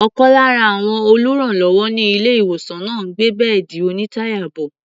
Ọ̀kan lára àwọn olùrànlọ́wọ́ ní ilé-ìwòsàn náà ń gbé bẹ́ẹ̀dì onítàyà bọ̀.